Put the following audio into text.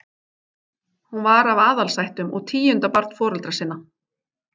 Hún var af aðalsættum og tíunda barn foreldra sinna.